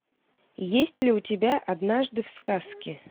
есть ли у тебя однажды в сказке